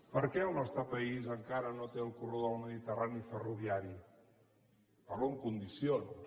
per què el nostre país encara no té el corredor del mediterrani ferroviari parlo en condicions